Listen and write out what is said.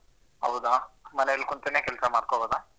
ಹೌದಾ ಮನೆಲ್ ಕುಂತೇನೆ ಕೆಲ್ಸ ಮಾಡ್ಕೋಬೋದ?